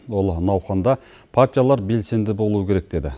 ол науқанда партиялар белсенді болуы керек деді